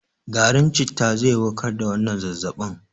Garin citta zai warkar da wannan zazzabin.